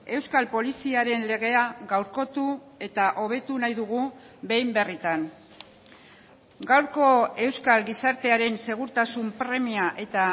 euskal poliziaren legea gaurkotu eta hobetu nahi dugu behin berritan gaurko euskal gizartearen segurtasun premia eta